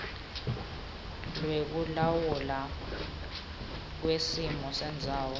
lwekulawulwa kwesimo sendzawo